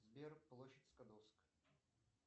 сбер площадь скадовск